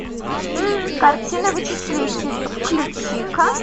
картина вычислитель включи ка